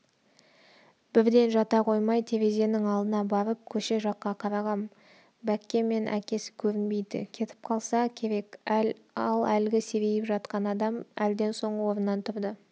бірден жата қоймай терезенің алдына барып көше жаққа қарағам бәкке мен әкесі көрінбейді кетіп қалса керек ал әлгі серейіп жатқан адам әлден соң орнынан тұрды